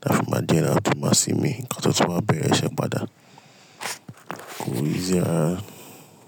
táfi máa jẹ e, a tun máa sinmi, ka tó tun wa bẹ̀rẹ̀ iṣẹ́ padà, kò easy rara.